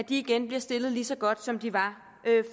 igen bliver stillet lige så godt som de var